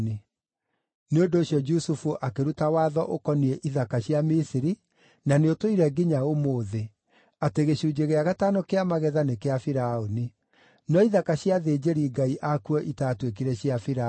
Nĩ ũndũ ũcio Jusufu akĩruta watho ũkoniĩ ithaka cia Misiri, na nĩũtũire nginya ũmũthĩ, atĩ gĩcunjĩ gĩa gatano kĩa magetha nĩ kĩa Firaũni. No ithaka cia athĩnjĩri-ngai akuo itaatuĩkire cia Firaũni.